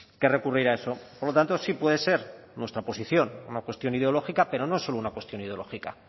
que recurrir a eso por lo tanto sí puede ser nuestra posición una cuestión ideológica pero no solo una cuestión ideológica